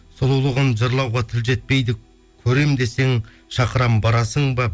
сұлулығын жырлауға тіл жетпейді көремін десең шақырамын барасың ба